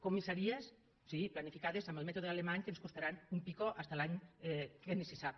comissaries sí planificades amb el mètode alemany que ens costaran un pico fins l’any que ni se sap